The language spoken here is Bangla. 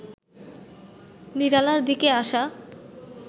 নিরালার দিকে আসা